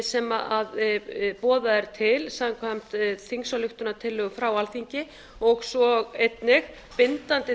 sem boðað er til samkvæmt þingsályktunartillögu frá alþingi og svo einnig bindandi